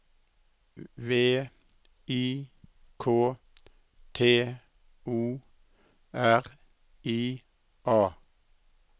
V I K T O R I A